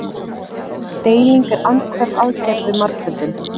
Deiling er andhverf aðgerð við margföldun.